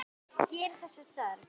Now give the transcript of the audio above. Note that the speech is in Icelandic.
Gerist þess þörf.